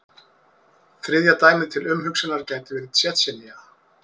Þriðja dæmið til umhugsunar gæti verið Tsjetsjenía.